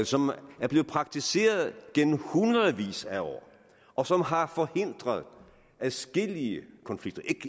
som er blevet praktiseret gennem hundredvis af år og som har forhindret adskillige konflikter